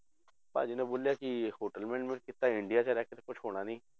ਭਾਜੀ ਨੇ ਬੋਲਿਆ ਕਿ hotel management ਕੀਤਾ, ਇੰਡੀਆ 'ਚ ਰਹਿ ਕੇ ਤਾਂ ਕੁਛ ਹੋਣਾ ਨੀ।